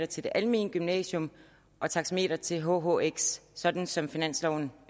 til det almene gymnasium og taxameteret til hhx sådan som finansloven